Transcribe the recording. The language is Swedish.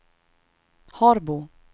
Harbo